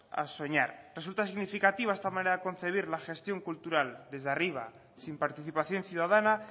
a soñar resulta significativa esta manera de concebir la gestión cultural desde arriba sin participación ciudadana